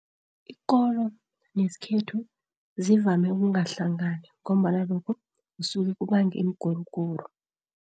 Ikolo nesikhethu zivame ukungahlangani, ngombana lokho kusuke kubange imiguruguru.